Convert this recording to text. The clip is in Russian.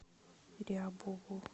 рябову